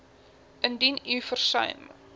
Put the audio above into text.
indien u versuim